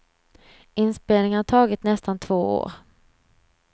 Inspelningen har tagit nästan två år.